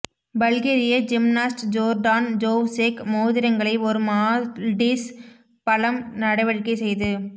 பல்கேரிய gymnast Jordan Jovchev மோதிரங்களை ஒரு Maltese பலம் நடவடிக்கை செய்து